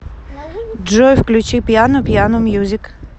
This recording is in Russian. джой включи пиано пиано мьюзик